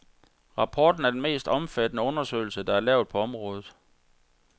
Rapporten er den mest omfattende undersøgelse, der er lavet på området.